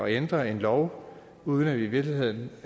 ændre en lov uden at vi i virkeligheden